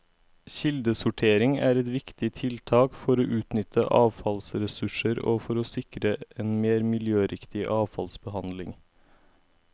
Kildesortering er et viktig tiltak for å utnytte avfallsressurser og for å sikre en mer miljøriktig avfallsbehandling.